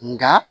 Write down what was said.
Nka